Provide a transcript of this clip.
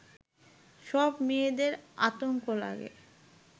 সব মেয়েদের আতঙ্ক লাগে